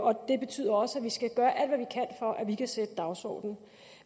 og det betyder også at vi skal gøre alt at vi kan sætte dagsordenen